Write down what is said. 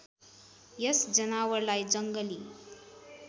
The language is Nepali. यस जनावरलाई जङ्गली